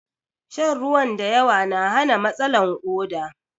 Shan ruwan da yawa na hana matsalan koɗa